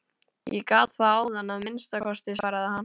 Ég gat það áðan að minnsta kosti, svaraði hann.